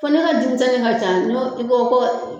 Fo ne ka denmisɛnmi ka ca ɲɔ i ko ko.